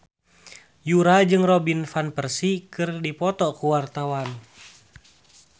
Yura jeung Robin Van Persie keur dipoto ku wartawan